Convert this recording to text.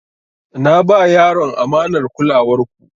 Na ba yaron amanar kulawar ku.